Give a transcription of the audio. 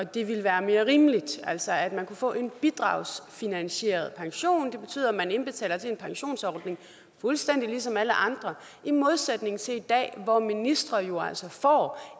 det ville være mere rimeligt altså at man kunne få en bidragsfinansieret pension det betyder at man indbetaler til en pensionsordning fuldstændig ligesom alle andre i modsætning til i dag hvor ministre jo altså får